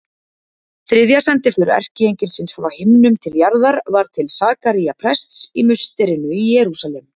Þriðja sendiför erkiengilsins frá himnum til jarðar var til Sakaría prests í musterinu í Jerúsalem.